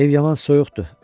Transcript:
Ev yaman soyuqdur,